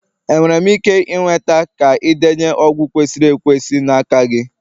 Enwere m ike ịnweta ka indenye ọgwụ kwesịrị ekwesị n'aka gị?